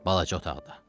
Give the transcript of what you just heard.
Balaca otaqda.